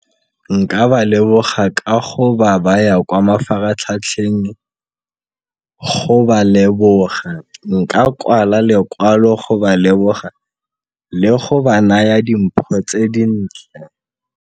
Nka ba leboga ka go ba baya kwa mafaratlhatlheng go ba leboga, nka kwala lekwalo go ba leboga le go ba naya dimpho tse dintle.